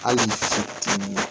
Hali